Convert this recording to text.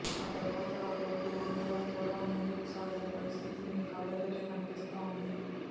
ఆ తర్వాత ఆ రోడ్డు అంగుళం కూడా ముందుకు సాగని పరిస్థితి మీ కళ్లెదుటే కనిపిస్తా ఉంది